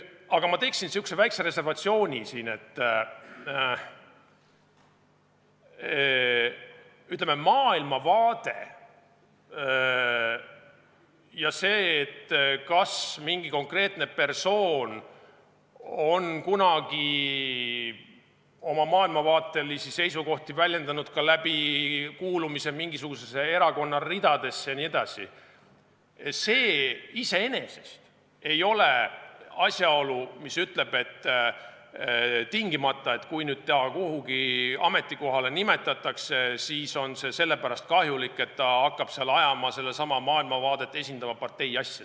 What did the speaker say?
Aga ma teeksin siin sellise väikese reservatsiooni, et maailmavaade ja see, kas mingi konkreetne persoon on kunagi oma maailmavaatelisi seisukohti väljendanud ka kuuludes mingisuguse erakonna ridadesse jne, ei ole iseenesest asjaolu, mis ütleb, et tingimata, kui ta kuhugi ametikohale nimetatakse, on see sellepärast kahjulik, et ta hakkab seal esindama sedasama maailmavaadet, ajama partei asja.